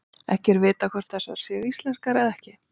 Ekki er vitað hvort þessar séu íslenskar eða ekki.